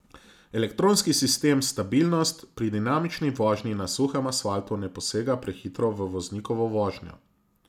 Elektronski sistem stabilnost pri dinamični vožnji na suhem asfaltu ne posega prehitro v voznikovo vožnjo.